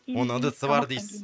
оның ыдысы бар дейсіз